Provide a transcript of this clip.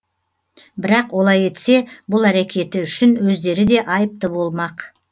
бірақ олай етсе бұл әрекеті үшін өздері де айыпты болмақ